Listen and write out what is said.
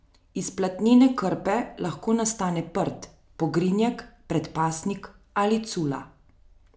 Iz platnene krpe lahko nastane prt, pogrinjek, predpasnik ali cula.